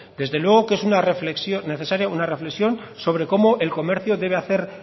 desde luego que es una reflexión necesaria sobre cómo el comercio debe hacer